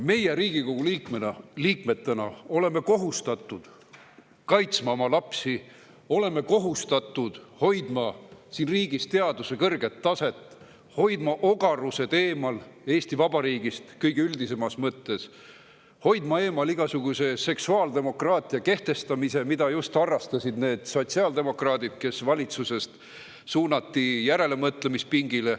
Meie Riigikogu liikmetena oleme kohustatud kaitsma oma lapsi, oleme kohustatud hoidma siin riigis teaduse kõrget taset, hoidma oma ogarused eemal Eesti Vabariigist kõige üldisemas mõttes, hoidma eemal igasuguse seksuaaldemokraatia kehtestamise, mida just harrastasid need sotsiaaldemokraadid, kes valitsusest suunati järelemõtlemispingile.